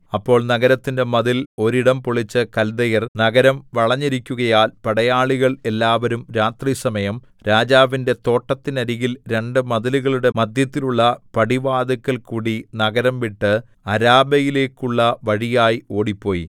അപ്പോൾ നഗരത്തിന്റെ മതിൽ ഒരിടം പൊളിച്ച് കല്ദയർ നഗരം വളഞ്ഞിരിക്കുകയാൽ പടയാളികൾ എല്ലാവരും രാത്രിസമയം രാജാവിന്റെ തോട്ടത്തിനരികിൽ രണ്ടു മതിലുകളുടെ മദ്ധ്യത്തിലുള്ള പടിവാതില്ക്കൽകൂടി നഗരം വിട്ട് അരാബയിലേക്കുള്ള വഴിയായി ഓടിപ്പോയി